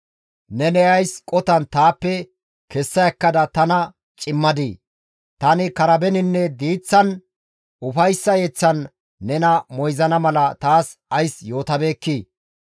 Neni ays qotan taappe kessa ekkada tana cimmadii? Tani karabeninne diiththan ufayssa yeththan nena moyzana mala taas ays yootabeekkii?